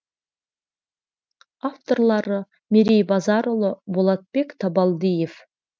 авторлары мерей базарұлы болатбек табалдиев